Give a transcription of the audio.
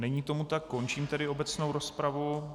Není tomu tak, končím tedy obecnou rozpravu.